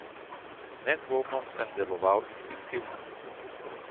Nedvomno sem deloval instinktivno.